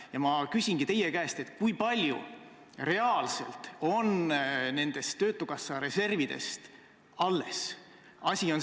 Ja ma küsingi teie käest: kui palju reaalselt on töötukassa reservidest alles?